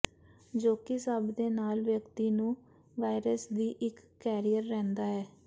ਜੋ ਕਿ ਸਭ ਦੇ ਨਾਲ ਵਿਅਕਤੀ ਨੂੰ ਵਾਇਰਸ ਦੀ ਇੱਕ ਕੈਰੀਅਰ ਰਹਿੰਦਾ ਹੈ